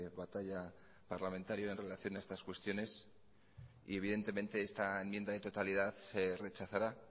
batalla parlamentario en relación a estas cuestiones y evidentemente esta enmienda de totalidad se rechazará